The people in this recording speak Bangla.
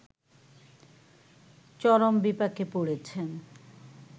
চরম বিপাকে পড়েছেন